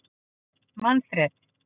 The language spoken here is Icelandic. Manfreð